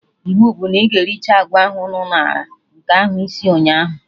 Iwu bụ na ị ga-ericha agwa ahụ nnu ñara, nke ahụ isir ụnyaahụ